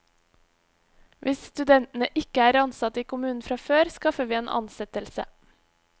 Hvis studentene ikke er ansatt i kommunene fra før, skaffer vi en ansettelse.